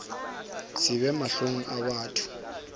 se be mahlong a batho